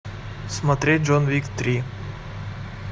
смотреть джон уик три